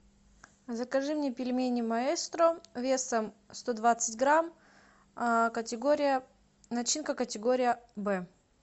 закажи мне пельмени маэстро весом сто двадцать грамм категория начинка категория б